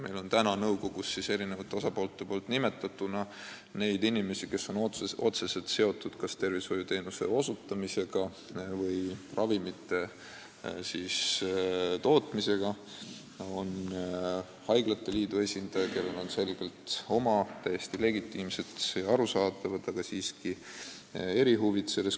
Meil on nõukogus eri osapoolte nimetatuna neid inimesi, kes on otseselt seotud kas tervishoiuteenuse osutamisega või ravimite tootmisega, on haiglate liidu esindaja, kellel on selles küsimuses selgelt oma erihuvid, täiesti legitiimsed ja arusaadavad, aga siiski erihuvid.